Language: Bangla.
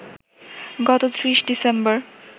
গত ৩০ ডিসেম্বর